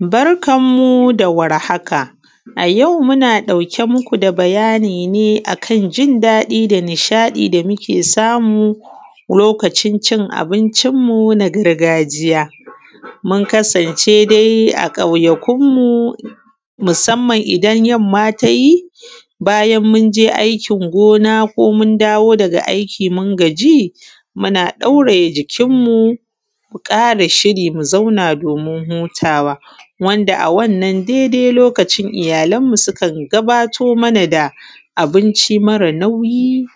Barkan mu da warhaka. A yau muna ɗauke muku da bayani ne akan jin daɗi da nishaɗi da muke samu lokacin abincin mu na gargajiya. Mun kasance dai a ƙauyakunmu musamman idan yamma tayi, munje aikin gona ko mun dawo daga aiki mun gaji muna ɗauraye jikin mu mu ƙasa shiri mu zauna domin hutawa. Wanda a wannan dai dai lokacin iyyalan mu sukan gabato mana da abinci mare nauyi